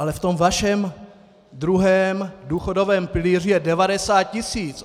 Ale v tom vašem druhém důchodovém pilíři je 90 tisíc!